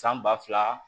San ba fila